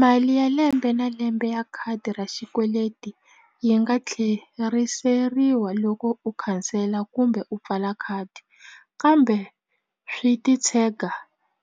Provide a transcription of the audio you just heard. Mali ya lembe na lembe ya khadi ra xikweleti yi nga tlheriseriwa loko u khansela kumbe u pfala khadi kambe swi ti tshega